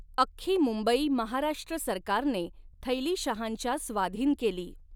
अख्खी मुंबई महाराष्ट्र सरकारने थैलीशहांच्या स्वाधीन केली.